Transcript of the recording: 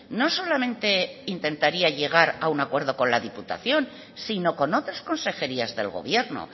no solamente intentaría llegar a un acuerdo con la diputación sino con otras consejerías del gobierno